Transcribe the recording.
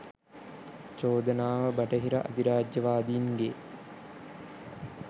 චෝදනාව බටහිර අධිරාජ්‍යවාදීන්ගේ